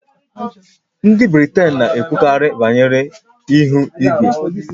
Ndị Britain na-ekwukarị banyere ihu igwe